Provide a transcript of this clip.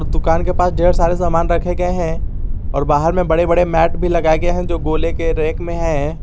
दुकान के पास ढेर सारे सामान रखे गए हैं और बाहर में बड़े बड़े मैट भी लगाए गए है जो गोले के रैक में है।